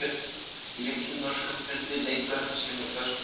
Í litlum norskum firði leikur hann sér með börnum.